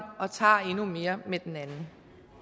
og tager endnu mere med den anden